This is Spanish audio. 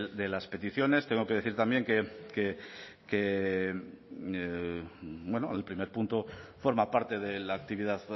de las peticiones tengo que decir también que bueno el primer punto forma parte de la actividad